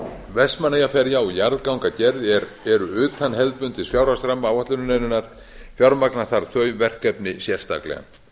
vestmannaeyjaferja og jarðgangagerð eru utan hefðbundins fjárhagsramma áætlunarinnar fjármagna þarf þau verkefni sérstaklega